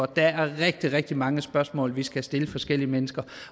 der er rigtig rigtig mange spørgsmål vi skal have stillet forskellige mennesker